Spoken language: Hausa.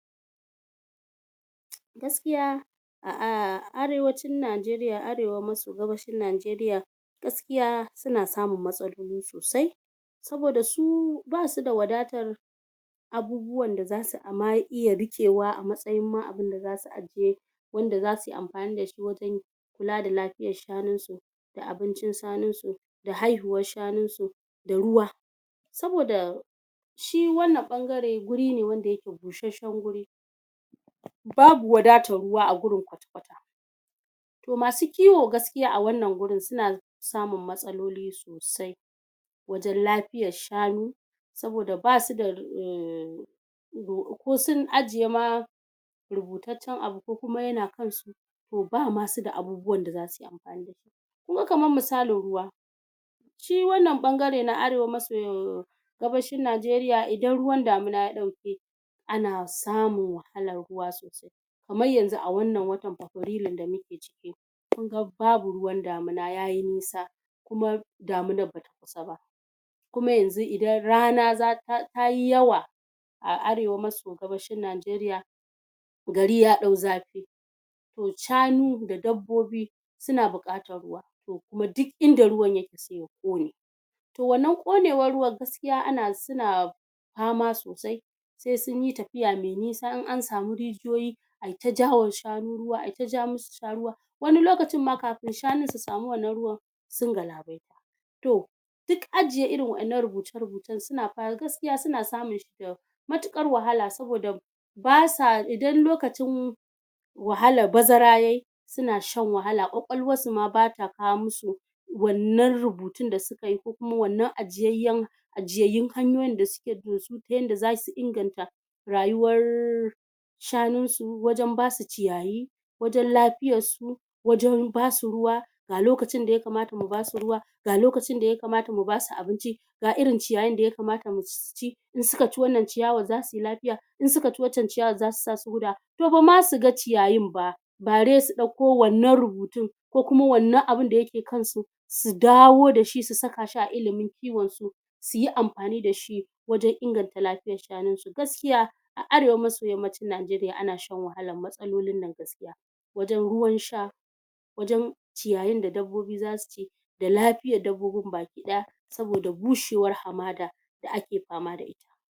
gaskiya a arewacin Najeriya arewa maso gabashin Najeriya gaskiya suna samun matsaloli sosai saboda su basu da wadatar abubuwan da zasu iya riƙewa a matsayin ma abunda zasu ajiye wanda zasu yi amfani da shi wajen kula da lafiyar shanun su da abincin shanun su da haihuwar shanun su da ruwa saboda shi wannan ɓangare guri ne wanda yake bushashshen guri babu wadatar ruwa a gurin kwata-kwata to masu kiwo gaskiya a wannan gurin suna samun matsaloli sosai wajen lafiyar shanu saboda basu da uhm ko sun ajiye ma rubutaccen abu ko kuma yana kan su to ba ma su da abubuwan da zasu yi amfani da shi kunga kamar misalin ruwa shi wannan ɓangare na arewa maso gabashin Najeriya idan ruwan damina ya ɗauke ana samun wahalar ruwa sosai kamar yanzu a wannan watan fabrilun da muke ciki kunga babu ruwan damina yayi nisa kuma daminar bata kusa ba kuma yanzu idan rana tayi yawa a arewa maso gabashin Najeriya gari ya ɗau zafi to shanu da dabbobi suna buƙatar ruwa to kuma duk inda ruwan yake se ya ƙone to wannan ƙonewar ruwan gaskiya suna fama sosai se sunyi tafiya me nisa in an samu rijiyoyi ayi ta jawowa shanu ruwa ayita ja musu su sha ruwa wani lokacin ma kafin shanun su samu wannan ruwan sun galabaita to duk ajiye irin waɗannan rubuce-rubucen gaskiya suna samun shi da matuƙar wahala saboda idan lokacin wahalar bazara yayi suna shan wahala ƙwaƙwalwar su ma bata kawo mu su wannan rubutun da suka yi ko kuma wannan ajiyayyan ajiyayyun hanyoyin da suke bi da su ta yanda zasu inganta rayuwar shanun su wajen basu ciyayi wajen lafiyar su wajen basu ruwa ga lokacin da ya kamata mu basu ruwa ga lokacin da ya kamata mu basu abinci ga irin ciyayin da ya kamata su ci in suka ci wannan ciyawar za su yi lafiya in suka ci wancan ciyawar zata sa su gudawa to bama su ga ciyayin ba bare su ɗauko wannan rubutun ko kuma wannan abun da yake kansu su dawo da shi su saka shi a ilimin kiwon su suyi amfani da shi wajen inganta lafiyar shanun su gaskiya a arewa maso yammacin Najeriya ana shan wahalar matsalolin nan gaskiya wajen ruwan sha wajen ciyayin da dabbobi zasu ci da lafiyar dabbobin baki ɗaya saboda bushewar hamada da ake fama da ita